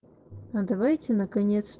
а давайте наконец